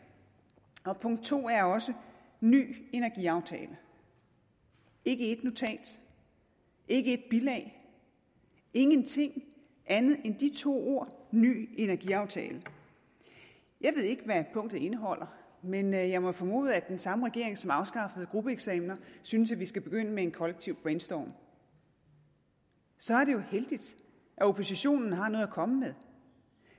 og punkt to er også ny energiaftale ikke ét notat ikke ét bilag ingenting andet end de to ord ny energiaftale jeg ved ikke hvad punktet indeholder men jeg jeg må formode at den samme regering som afskaffede gruppeeksamener synes at vi skal begynde med en kollektiv brainstorm så er det jo heldigt at oppositionen har noget at komme med